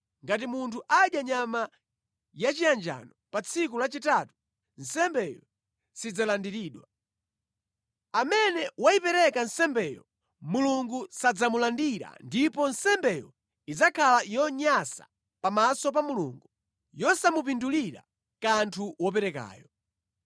Ngati munthu adya nyama yachiyanjano pa tsiku lachitatu, nsembeyo sidzalandiridwa. Amene wayipereka nsembeyo Mulungu sadzamulandira ndipo nsembeyo idzakhala yonyansa pamaso pa Mulungu, yosamupindulira kanthu woperekayo.